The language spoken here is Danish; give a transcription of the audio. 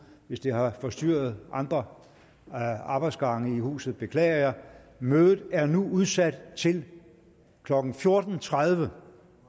hvis det har forstyrret andre arbejdsgange i huset beklager jeg mødet er nu udsat til klokken fjorten tredive